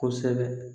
Kosɛbɛ